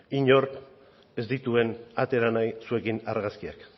inork ez dituen atera nahi zuekin argazkiak